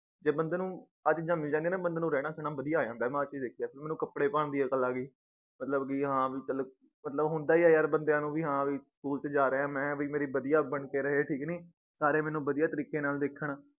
ਜੇ ਬੰਦੇ ਨੂੰ ਆ ਚੀਜਾਂ ਮਿਲ ਜਾਂਦੀਆਂ ਨਾ ਬੰਦੇ ਨੂੰ ਰਹਿਣਾ ਸਹਿਣਾ ਬਧਿਆ ਆ ਜਾਂਦਾ ਏ ਮੈ ਆ ਚੀਜ ਦੇਖੀ ਏ ਮੈਨੂੰ ਕਪੜੇ ਪਾਣ ਦੀ ਅੱਕਲ ਆਗੀ ਮਤਲਬ ਵੀ ਹਾਂ ਕਿ ਚੱਲ ਮਤਲਬ ਹੁੰਦਾ ਈ ਏ ਯਾਰ ਬੰਦਿਆਂ ਨੂੰ ਵੀ ਹਾਂ ਵੀ ਸਕੂਲ ਚ ਜਾਰ੍ਹਿਆਂ ਏ ਆ ਮੈ ਵਈ ਮੇਰੀ ਬਧਿਆ ਬਣ ਕੇ ਰਹੇ ਠੀਕ ਨੀ ਸਾਰੇ ਮੈਨੂੰ ਬਧਿਆ ਤਰੀਕੇ ਨਾਲ ਦੇਖਣ